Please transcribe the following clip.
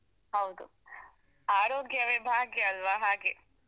ಹೌದು ಆರೋಗ್ಯವೇ ಭಾಗ್ಯ ಅಲ್ವಾ ಹಾಗೆ.